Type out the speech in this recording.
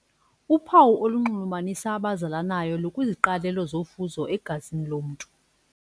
Uphawu olunxulumanisa abazalanayo lukwiziqalelo zofuzo egazini lomntu.